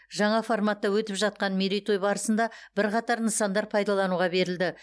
жаңа форматта өтіп жатқан мерейтой барысында бірқатар нысандар пайдалануға берілді